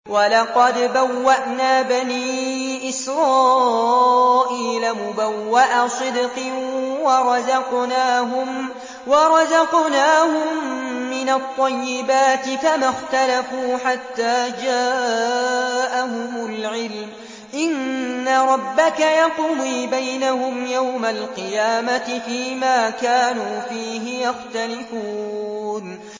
وَلَقَدْ بَوَّأْنَا بَنِي إِسْرَائِيلَ مُبَوَّأَ صِدْقٍ وَرَزَقْنَاهُم مِّنَ الطَّيِّبَاتِ فَمَا اخْتَلَفُوا حَتَّىٰ جَاءَهُمُ الْعِلْمُ ۚ إِنَّ رَبَّكَ يَقْضِي بَيْنَهُمْ يَوْمَ الْقِيَامَةِ فِيمَا كَانُوا فِيهِ يَخْتَلِفُونَ